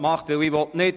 Ruth Jahn